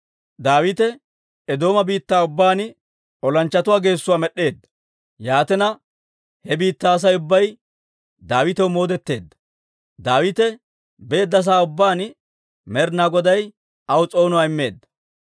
Daawite Eedooma biittaa ubbaan olanchchatuu geessuwaa med'd'eedda; yaatina he biittaa Asay ubbay Daawitaw moodeteedda. Daawite beedda sa'aa ubbaan Med'inaa Goday aw s'oonuwaa immeedda.